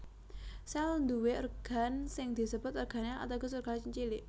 Sèl nduwé organ sing disebut organel ateges organ cilik